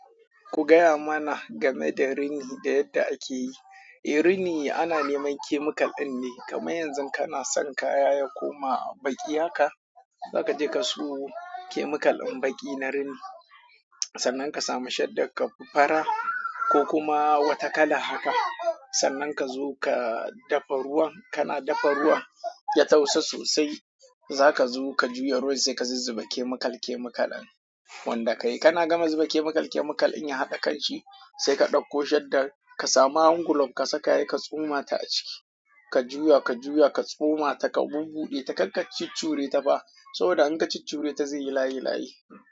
Ku gaya mana game da rini da yadda ake yi. Eh, rini ana neman chemical ɗin ne. Kamar yanzu kana son kaya ya koma baƙi haka, za ka je ka sayo chemical ɗin baƙi na rini. Sannan ka sami shaddar ka fara ko kuma wata kalar haka. Sannan ka zo ka dafa ruwan, kana dafa ruwan ya tausa sosai. Zaka zo ka juya ruwan sai ka zuzzuba chemical chemical ɗin wanda ka yi. Kana gama zuba chemical chemical in ya haɗa kanshi, sai ka ɗauko shaddan ka sami hand glove ka saka he ka tsoma ta a ciki. Ka juya ka juya ka tsoma ta ka bubbude ta kar ka cuccure ta fa saboda in ka ciccure ta zai yi layi layi.